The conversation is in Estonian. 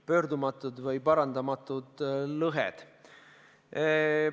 – pöördumatud või parandamatud lõhed.